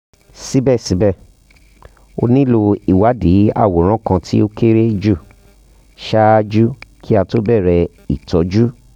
sibẹsibẹ a nilo iwadii aworan kan ti o kere ju ṣaaju ki a to bẹrẹ itọju